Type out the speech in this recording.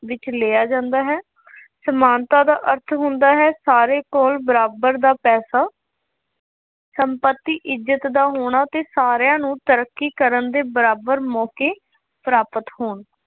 ਵਿੱਚ ਲਿਆ ਜਾਂਦਾ ਹੈ। ਸਮਾਨਤਾ ਦਾ ਅਰਥ ਹੁੰਦਾ ਹੈ, ਸਾਰਿਆਂ ਕੋਲ ਬਰਾਬਰ ਦਾ ਪੈਸਾ ਸੰਪੱਤੀ, ਇੱਜ਼ਤ ਦਾ ਹੋਣਾ ਅਤੇ ਸਾਰਿਆਂ ਨੂੰ ਤਰੱਕੀ ਕਰਨ ਦੇ ਬਰਾਬਰ ਮੌਕੇ ਪ੍ਰਾਪਤ ਹੋਣ।